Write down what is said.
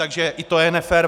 Takže i to je nefér.